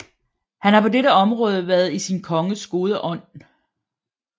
Han har på dette område været sin konges gode ånd